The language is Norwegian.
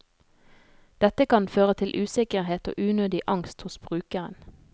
Dette kan føre til usikkerhet og unødig angst hos brukeren.